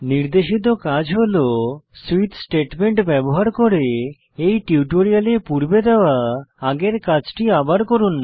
নির্দেশিত কাজ হল সুইচ স্টেটমেন্ট ব্যবহার করে এই টিউটোরিয়ালে পূর্বে দেওয়া আগের কাজটি আবার লিখুন